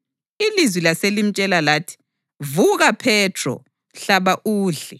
Ilizwi laselimtshela lathi, “Vuka Phethro. Hlaba udle.”